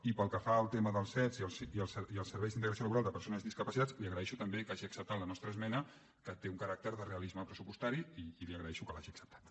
i pel que fa al tema dels sed i els serveis d’integració laboral de persones discapacitades li agraeixo també que hagi acceptat la nostra esmena que té un caràcter de realisme pressupostari i li agraeixo que l’hagi acceptada